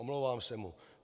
Omlouvám se mu.